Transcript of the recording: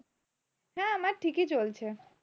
হ্যাঁ আমার ঠিকই চলছে।